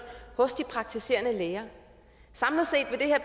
hos de praktiserende læger samlet set